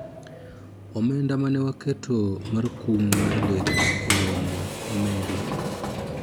omenda mane waketo mar kum mar deko e romo omedi